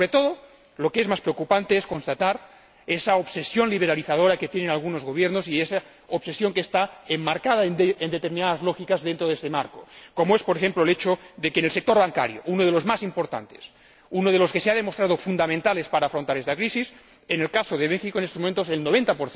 Pero, sobre todo, lo que es más preocupante es constatar esa obsesión liberalizadora que tienen algunos gobiernos y esa obsesión que está enmarcada en determinadas lógicas en este contexto, como, por ejemplo, el hecho de que, en el sector bancario, uno de los más importantes, uno de los que se ha demostrado que son fundamentales para afrontar esta crisis, en el caso de México, en estos momentos, el 90